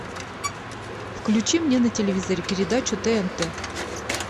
включи мне на телевизоре передачу тнт